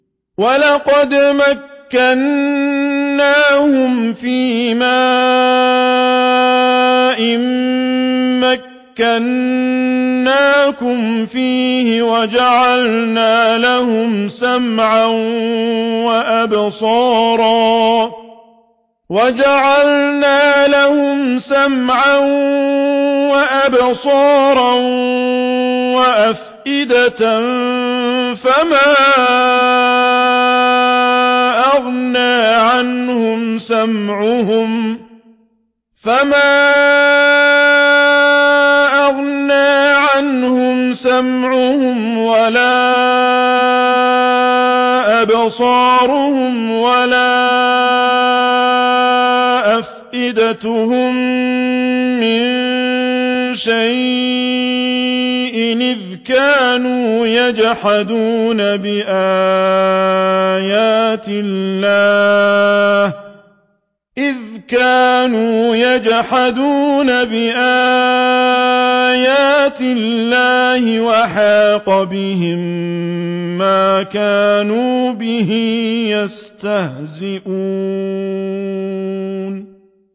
وَلَقَدْ مَكَّنَّاهُمْ فِيمَا إِن مَّكَّنَّاكُمْ فِيهِ وَجَعَلْنَا لَهُمْ سَمْعًا وَأَبْصَارًا وَأَفْئِدَةً فَمَا أَغْنَىٰ عَنْهُمْ سَمْعُهُمْ وَلَا أَبْصَارُهُمْ وَلَا أَفْئِدَتُهُم مِّن شَيْءٍ إِذْ كَانُوا يَجْحَدُونَ بِآيَاتِ اللَّهِ وَحَاقَ بِهِم مَّا كَانُوا بِهِ يَسْتَهْزِئُونَ